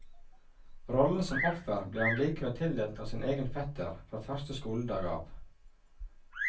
Rollen som offer ble han likevel tildelt av sin egen fetter fra første skoledag av.